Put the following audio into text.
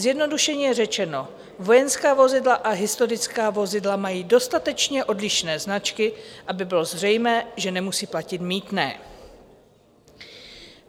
Zjednodušeně řečeno, vojenská vozidla a historická vozidla mají dostatečné odlišné značky, aby bylo zřejmé, že nemusí platit mýtné.